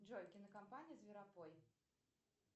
джой кинокомпания зверопой